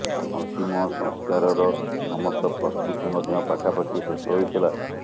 ଅନ୍ତିମ ସଂସ୍କାରର ସମସ୍ତ ପ୍ରସ୍ତୁତି ମଧ୍ୟ ପାଖାପାଖି ଶେଷ ହୋଇଥିଲା